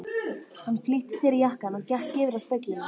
Hann flýtti sér í jakkann og gekk yfir að speglinum.